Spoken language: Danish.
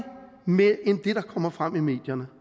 mere end det der kommer frem i medierne